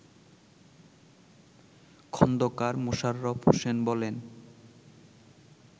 খন্দকার মোশাররফ হোসেন বলেন